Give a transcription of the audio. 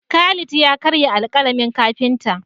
Khalid ya karya alƙalamin kafinta.